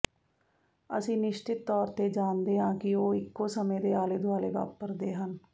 ਅਸੀਂ ਨਿਸ਼ਚਿਤ ਤੌਰ ਤੇ ਜਾਣਦੇ ਹਾਂ ਕਿ ਉਹ ਇੱਕੋ ਸਮੇਂ ਦੇ ਆਲੇ ਦੁਆਲੇ ਵਾਪਰਦੇ ਹਨ